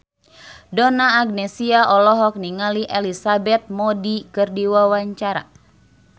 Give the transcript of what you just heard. Donna Agnesia olohok ningali Elizabeth Moody keur diwawancara